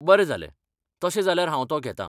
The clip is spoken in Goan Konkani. बरें जालें! तशें जाल्यार हांव तो घेतां.